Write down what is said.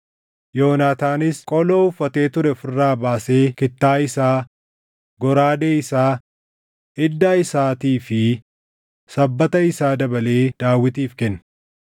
Yoonaataanis qoloo uffatee ture of irraa baasee kittaa isaa, goraadee isaa, iddaa isaatii fi sabbata isaa dabalee Daawitiif kenne.